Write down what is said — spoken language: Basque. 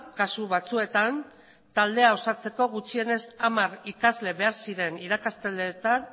kasu batzuetan taldea osatzeko gutxienez hamar ikasle behar ziren